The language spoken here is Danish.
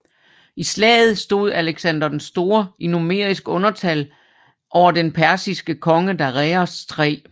I slaget stod Alexander Den Store i numerisk undertal over for den persiske konge Dareios 3